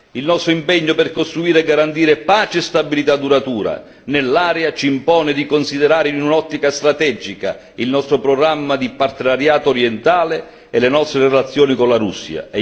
Il nostro impegno per costruire e garantire pace e stabilità duratura nell'area ci impone di considerare in un'ottica strategica il nostro programma di partenariato orientale e le nostre relazioni con la Russia.